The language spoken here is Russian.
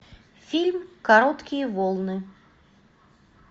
фильм короткие волны